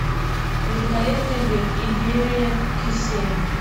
великолепный век империя кесем